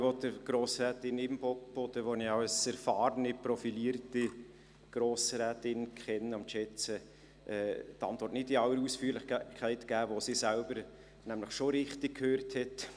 Ich will Grossrätin Imboden, die ich als erfahrene, profilierte Grossrätin kenne und schätze, die Antwort nicht in aller Ausführlichkeit geben, die sie selbst nämlich schon richtig gehört hat.